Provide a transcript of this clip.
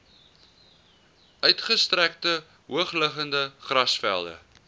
uitgestrekte hoogliggende grasvelde